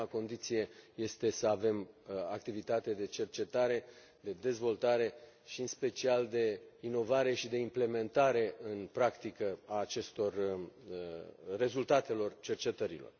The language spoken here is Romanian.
Prima condiție este să avem activitate de cercetare, de dezvoltare și, în special, de inovare și de implementare în practică a rezultatelor cercetărilor.